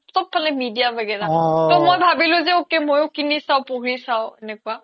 চ্ব ফালে media ৱাগেৰা তে মই ভবিলো যে ok মইও কিনি চাও পঢ়ি চাও এনেকুৱা